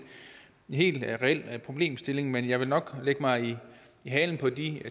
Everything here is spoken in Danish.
helt reel problemstilling men jeg vil nok lægge mig i halen på de